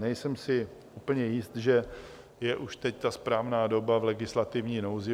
Nejsem si úplně jist, že je už teď ta správná doba - v legislativní nouzi.